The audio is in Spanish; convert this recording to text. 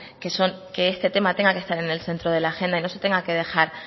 que este tema tenga que estar en el centro de la agenda y no se tenga que dejar